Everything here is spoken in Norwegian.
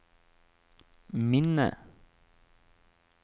minne